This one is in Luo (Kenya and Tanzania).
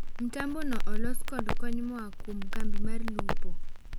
Mtambo no olos kod kony moaa kuom kambi mr lupo.